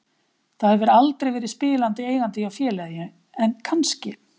Það hefur aldrei verið spilandi eigandi hjá félagi en kannski?